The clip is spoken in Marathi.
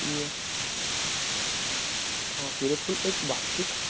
की सूर्यफूल एक भाषिक